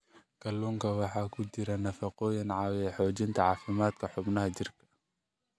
Kalluunka waxaa ku jira nafaqooyin caawiya xoojinta caafimaadka xubnaha jirka.